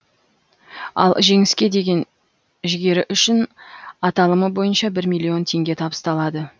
ал жеңіске деген жігері үшін аталымы бойынша бір миллион теңге табысталады